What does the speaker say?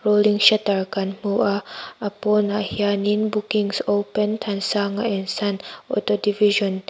rolling shutter kan hmu a a pawnah hian in bookings open thansanga and son auto division .